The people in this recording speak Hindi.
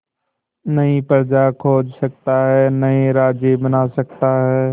नई प्रजा खोज सकता है नए राज्य बना सकता है